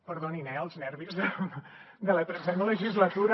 perdonin eh els nervis de la tretzena legislatura